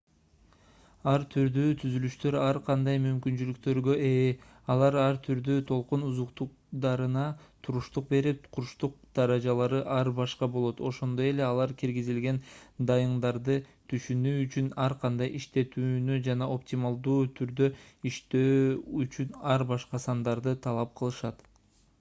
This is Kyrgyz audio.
ар түрдүү түзүлүштөр ар кандай мүмкүнчүлүктөргө ээ алар ар түрдүү толкун узундуктарына туруштук берип курчтук даражалары ар башка болот ошондой эле алар киргизилген дайындарды түшүнүү үчүн ар кандай иштетүүнү жана оптималдуу түрдө иштөө үчүн ар башка сандарды талап кылышат